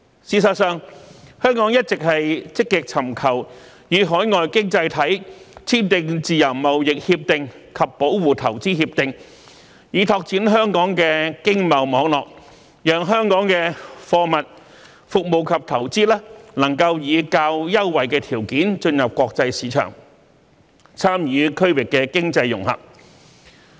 事實上，香港一直積極尋求與海外經濟體簽訂自由貿易協定及保護投資協定，以拓展香港的經貿網絡，讓香港的貨物、服務及投資能以較優惠條件進入國際市場，參與區域經濟融合。